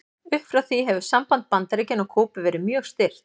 Upp frá því hefur samband Bandaríkjanna og Kúbu verið mjög stirt.